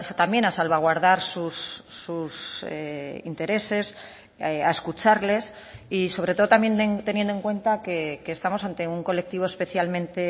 también a salvaguardar sus intereses a escucharles y sobre todo también teniendo en cuenta que estamos ante un colectivo especialmente